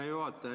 Hea juhataja!